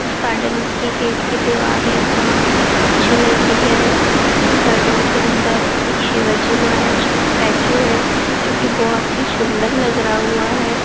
इस गार्डन के गेट की दीवारे बहुत ही अच्छी लग रही है यह गार्डन के अंदर एक शिवाजी महाराज का स्टेचू है जोकि बहुत ही सुंदर लग रहा हुआ है।